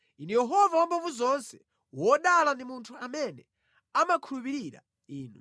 Inu Yehova Wamphamvuzonse, wodala ndi munthu amene amakhulupirira Inu.